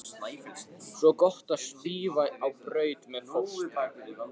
Svo gott að svífa á braut með fóstru.